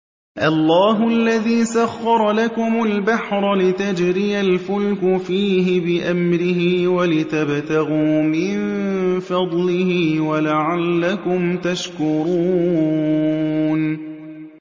۞ اللَّهُ الَّذِي سَخَّرَ لَكُمُ الْبَحْرَ لِتَجْرِيَ الْفُلْكُ فِيهِ بِأَمْرِهِ وَلِتَبْتَغُوا مِن فَضْلِهِ وَلَعَلَّكُمْ تَشْكُرُونَ